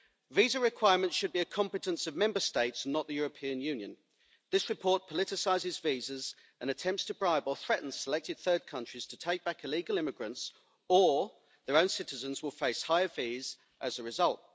Visa requirements should be a competence of Member States, not the European Union. This report politicises visas and attempts to bribe or threaten selected third countries to take back illegal immigrants, or their own citizens will face higher fees as a result.